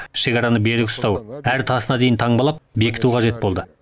шекараны берік ұстау әр тасына дейін таңбалап бекіту қажет болды